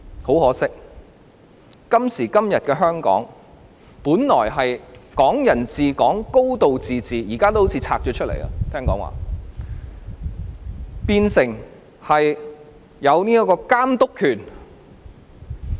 很可惜，今時今日的香港，本來應享有的"港人治港"和"高度自治"，聽說現在已好像被"分拆"出來，變相中央有監督權。